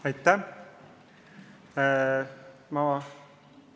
Aitäh!